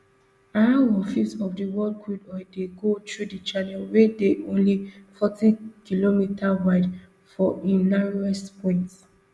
around one fifth of di world crude oil dey go through di channel wey dey only fortykm wide for im narrowest point